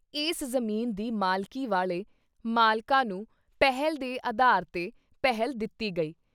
ਇਸ ਜ਼ਮੀਨ ਦੀ ਮਾਲਕੀ ਵਾਲ਼ੇ ਮਾਲਕਾਂ ਨੂੰ ਪਹਿਲ ਦੇ ਅਧਾਰ ’ਤੇ ਪਹਿਲ ਦਿੱਤੀ ਗਈ।